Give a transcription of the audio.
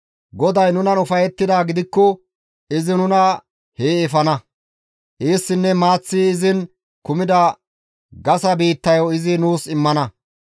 GODAY nunan ufayettidaa gidikko izi nuna hee efana; eessinne maaththi izin kumida gasa biittayo izi nuus immana.